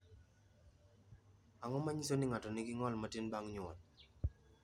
Ang’o ma nyiso ni ng’ato nigi ng’ol matin bang’ nyuol?